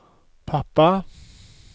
pappa